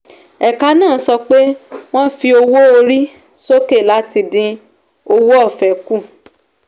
ẹ̀ka náà sọ pé wọ́n fi owó orí sókè láti dín owó ọ̀fẹ́ kù.